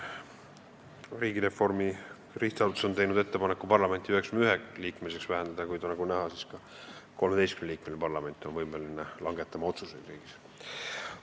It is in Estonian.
Riigireformi SA on teinud ettepaneku parlament 99-liikmeliseks vähendada, kuid nagu näha, ka 13-liikmeline parlament on võimeline riigis otsuseid langetama.